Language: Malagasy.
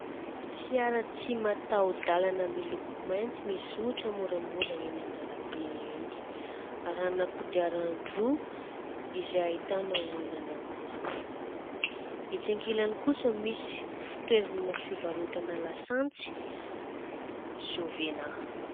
Fiara tsy mataho-dàlana miloko mainty mizotra moramora eny an-dàlambe eny. Arahana kodiaran-droa izay ahitana olona anankiroa. Etsy ankilany kosa misy toerana fivarotana lasantsy "Jovena".